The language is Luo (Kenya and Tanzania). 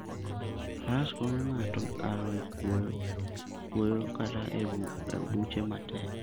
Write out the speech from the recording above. Faras konyo ng'ato kalo e kwoyo kata e buche matek.